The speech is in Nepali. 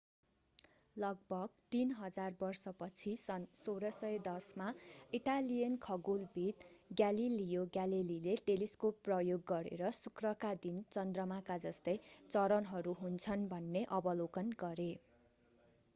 लगभग तीन हजार वर्षपछि सन् 1610 मा इटालियन खगोलविद् ग्यालिलियो ग्यालेलीले टेलिस्कोप प्रयोग गरेर शुक्रका पनि चन्द्रमाका जस्तै चरणहरू हुन्छन् भन्ने अवलोकन गरे